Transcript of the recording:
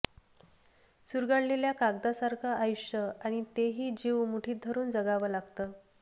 चुरगळलेल्या कागदासारखं आयुष्य आणि ते ही जीव मुठीत धरून जगावं लागतं